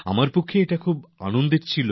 আমার জন্য তা খুবই সুখের বিষয় ছিল